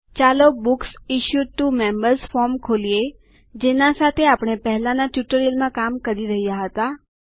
ચાલો books issued to members form ખોલીએ જેના સાથે આપણે પહેલાંના ટ્યુટોરીયલમાં કામ કરી રહ્યા હતા